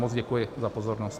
Moc děkuji za pozornost.